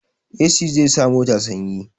Esi zai sa mota sanyi